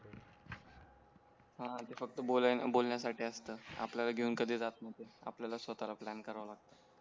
हां ते फक्त बोलण्या साठी असत आपल्याला घेऊन कधी जात नाही ते आपल्याला स्वतःला प्लॅन करावा लागतो